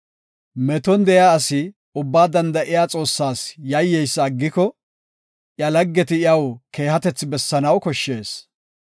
Meton de7iya asi Ubbaa Danda7iya Xoossas yayyeysa aggikoka, iya laggeti iyaw keehatethi bessanaw koshshees.